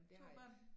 Du har børn